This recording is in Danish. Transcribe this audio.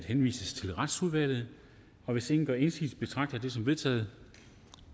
henvises til retsudvalget hvis ingen gør indsigelse betragter jeg det som vedtaget